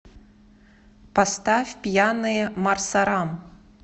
поставь пьяные марсарам